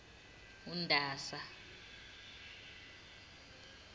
undasa